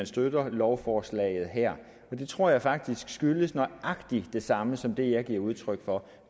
støtter lovforslaget her og det tror jeg faktisk skyldes nøjagtig det samme som det jeg giver udtryk for